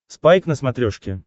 спайк на смотрешке